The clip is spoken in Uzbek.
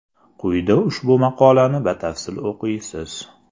Quyida ushbu maqolani batafsil o‘qiysiz.